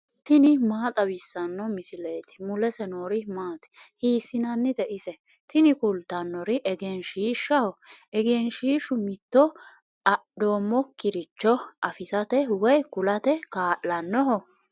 tini maa xawissanno misileeti ? mulese noori maati ? hiissinannite ise ? tini kultannori egenshiishshaho. egenshiishu mitto andoommokkiricho afisate woy kulate kaa'lannoho.